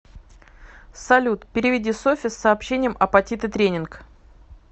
салют переведи софе с сообщением апатиты тренинг